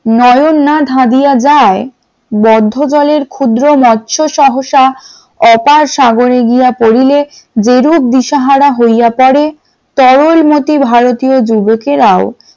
নয়ন না ধাদিয়া যায় বদ্ধ বলে ক্ষুদ্র মৎস্য সহসা অগাধ সাগরে গিয়া পড়িলে যেরূপ দিশাহারা হইয়া পড়ে তরল মতি ভারতীয় যুবকেরাও ।